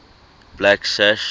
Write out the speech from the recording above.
blacksash